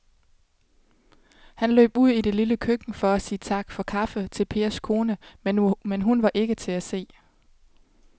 Han løb ud i det lille køkken for at sige tak for kaffe til Pers kone, men hun var ikke til at se.